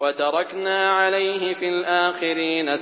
وَتَرَكْنَا عَلَيْهِ فِي الْآخِرِينَ